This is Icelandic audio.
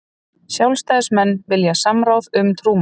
Sjálfstæðismenn vilja samráð um trúmál